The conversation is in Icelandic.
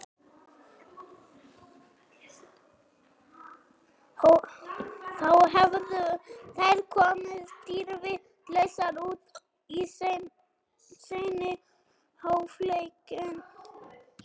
Þá hefðu þær komið dýrvitlausar út í seinni hálfleikinn.